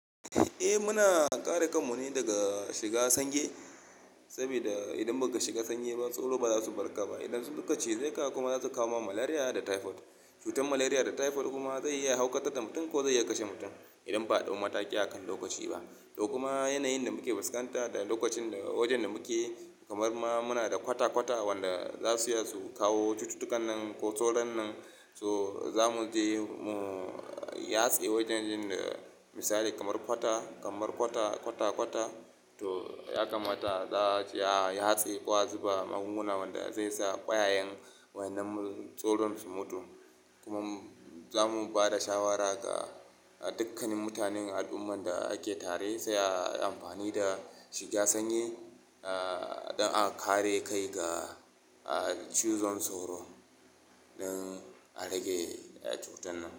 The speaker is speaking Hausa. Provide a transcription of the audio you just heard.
Eh muna kare kanmu ne daga shiga sanyi saboda idan baka shiga sanyi ba, tsoro ba za su barka ba. Idan su suka cize ka kuma za su kawo ma malariya da typhoid. Cutar malariya da typhoid kuma zai iya haukata da mutum ko zai iya kashe mutum idan ba a ɗau mataki akan lokaci ba. To kuma yanayin da muke fuskanta da lokacin da wajen da muke kamar ma muna da kwata kwata wanda za su iya su kawo cututtukan nan ko soron nan. So zamu je mu yatse wajen yin misali kamar kwata, kamar kwata kwata kwata to ya kamata za su ya yatse ko a zuba magunguna wanda zai sa kwayayen wannan soron su mutu. Kuma zamu ba da shawara ga dukkanin mutanen al'umman da ake tare sai a amfani da shiga sanyi, ah don a kare kai ga ah cizon soro dan a rage cutan nan.